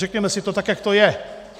Řekněme si to tak, jak to je.